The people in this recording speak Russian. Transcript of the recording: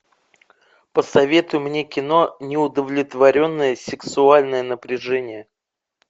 посоветуй мне кино неудовлетворенное сексуальное напряжение